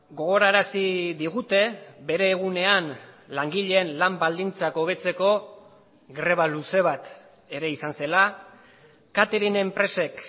gogorarazi digute bere egunean langileen lan baldintzak hobetzeko greba luze bat ere izan zela catering enpresek